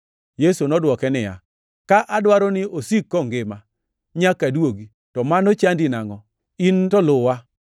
Yesu nodwoke niya, “Ka adwaro ni osik kongima nyaka aduogi, to mano chandi nangʼo? In to luwa!”